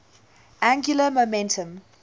angular momentum